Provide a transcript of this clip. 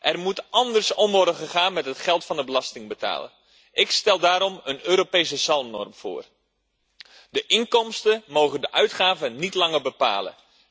Er moet anders worden omgegaan met het geld van de belastingbetaler. Ik stel daarom een Europese zalmnorm voor de inkomsten mogen de uitgaven niet langer bepalen.